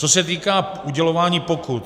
Co se týká udělování pokut.